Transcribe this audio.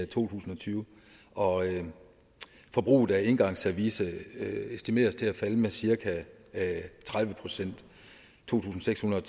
tusind og tyve og forbruget af engangsservice estimeres til at falde med cirka tredive procent to tusind seks hundrede